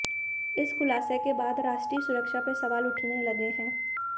इस खुलासे के बाद राष्ट्रीय सुरक्षा पर सवाल उठने लगे हैं